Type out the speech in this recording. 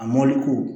A ko